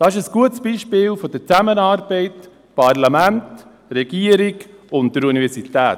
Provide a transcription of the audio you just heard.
Dies ist ein gutes Beispiel für die Zusammenarbeit zwischen Parlament, Regierung und Universität.